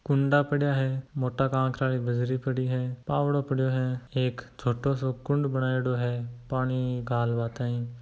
कूड़ा पड़ा है मोटा ककरा की बजरी पड़ी है खड़ी है पव्दो पड़ा है एक छोटो सो कुंड बना है पानी घाल बा ताई।